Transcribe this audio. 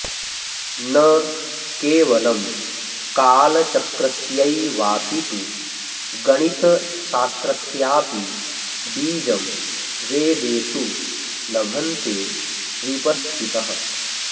न केवलं कालचक्रस्यैवापितु गणितशास्त्रस्यापि बीजं वेदेषु लभन्ते विपश्चितः